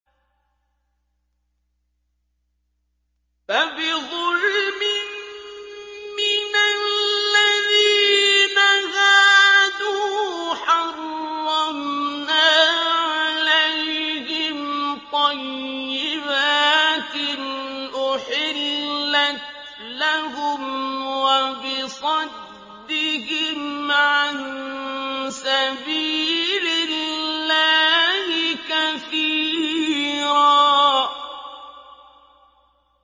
فَبِظُلْمٍ مِّنَ الَّذِينَ هَادُوا حَرَّمْنَا عَلَيْهِمْ طَيِّبَاتٍ أُحِلَّتْ لَهُمْ وَبِصَدِّهِمْ عَن سَبِيلِ اللَّهِ كَثِيرًا